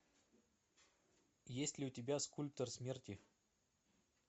есть ли у тебя скульптор смерти